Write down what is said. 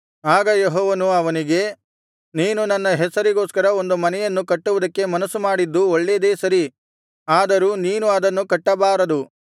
ಆಗ ಯೆಹೋವನು ಅವನಿಗೆ ನೀನು ನನ್ನ ಹೆಸರಿಗೋಸ್ಕರ ಒಂದು ಮನೆಯನ್ನು ಕಟ್ಟುವುದಕ್ಕೆ ಮನಸ್ಸು ಮಾಡಿದ್ದು ಒಳ್ಳೇದೆ ಸರಿ ಆದರೂ ನೀನು ಅದನ್ನು ಕಟ್ಟಬಾರದು